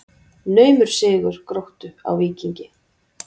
Naumur sigur Gróttu á Víkingi